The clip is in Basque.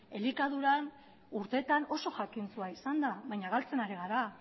elikaduran urteetan oso jakintsua izan da baina galtzen ari gara